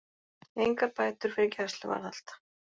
Engar bætur fyrir gæsluvarðhald